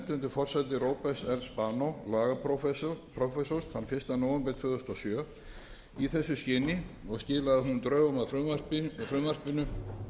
forsæti róberts r spanós lagaprófessors þann fyrsta nóvember tvö þúsund og sjö í þessu skyni og skilaði hún drögum að frumvarpinu